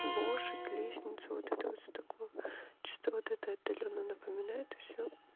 лошадь лестница вот это вот всё такое чисто вот это отдалённо напоминает и всё